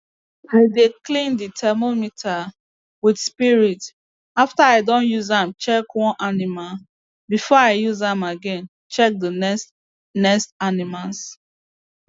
i dey clean the thermometer with spirit after i don use am check one animal before i use am again check the next next animals